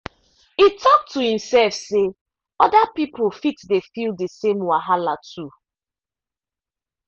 e talk to himself say other people fit dey feel the same wahala too.